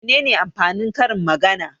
Mene amfanin karin-magana?